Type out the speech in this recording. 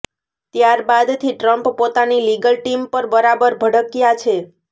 ત્યારબાદથી Trump પોતાની legal team પર બરાબર ભડક્યા છે